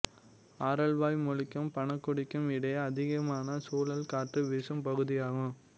ஆரல்வாய் மொழிக்கும் பணக்குடிக்கும் இடையே அதிகமான சுழல் காற்று வீசும் பகுதியாகும்